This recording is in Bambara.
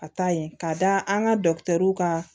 Ka taa yen ka da an ka ka